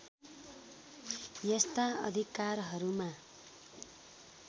यस्ता अधिकारहरूमा